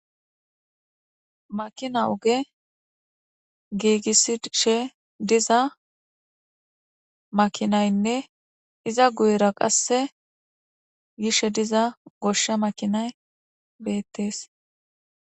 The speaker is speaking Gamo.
Makina oge giigissishe diza makinaynne iza guyera qasse gishe diza goshsha makinay beettees.